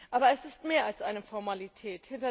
Aber es ist mehr als eine Formalität.